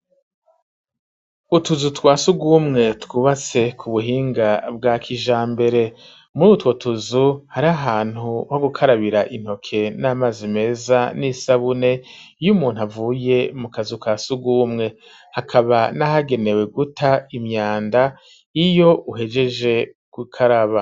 Utuzu twa sugumwe twubatse ku buhinga bwa kijambere murutwo tuzu hariho ahantu ho gukarabira intoke n'amazi meza n'isabune iyumuntu avuye mu kazu kasugumwe hakaba nahagenewe guta imyanda iyo uhejeje ku karaba.